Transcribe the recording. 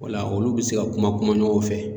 O la olu bi se ka kuma kuma ɲɔgɔn fɛ.